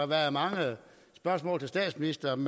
været mange spørgsmål til statsministeren